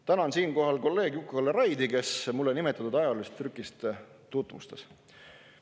Tänan siinkohal kolleeg Juku-Kalle Raidi, kes mulle nimetatud ajaloolist trükist tutvustas.